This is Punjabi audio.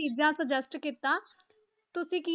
ਚੀਜ਼ਾਂ suggest ਕੀਤਾ, ਤੁਸੀਂ ਕੀ